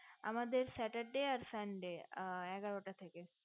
আমাদের saturday আর sunday আর এগারোটা থেকে